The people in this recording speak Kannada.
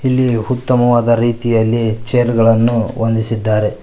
ಇಲ್ಲಿ ಉತ್ತಮವಾದ ರೀತಿಯಲ್ಲಿ ಚೇರುಗಳನ್ನು ಹೊಂದಿಸಿದ್ದಾರೆ.